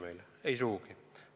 Mitte sugugi!